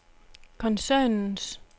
koncernens